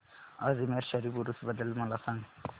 अजमेर शरीफ उरूस बद्दल मला सांग